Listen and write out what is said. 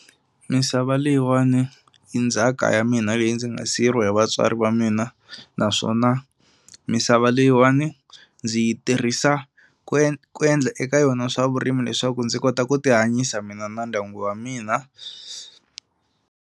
Misava leyiwani i ndzhaka ya mina leyi ndzi nga siyeriwa hi vatswari va mina naswona misava leyiwani ndzi yi tirhisa ku ku endla eka yona swa vurimi leswaku ndzi kota ku tihanyisa mina na ndyangu wa mina.